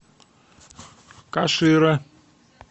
кашира